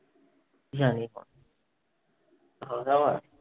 কি জানি?